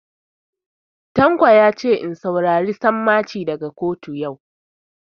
Tanko yace in saurari sammaci daga kotu yau